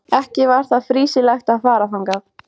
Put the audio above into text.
Ekki var því fýsilegt að fara þangað.